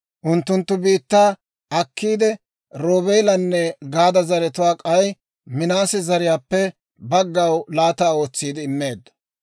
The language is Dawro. Unttunttu biittaa akkiide, Roobeelanne Gaada zaratuu k'ay Minaase zariyaappe baggaw laata ootsiide immeeddo.